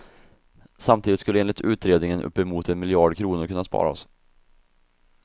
Samtidigt skulle enligt utredningen uppemot en miljard kronor kunna sparas.